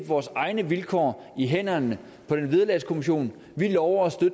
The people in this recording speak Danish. vores egne vilkår i hænderne på den vederlagskommission vi lover at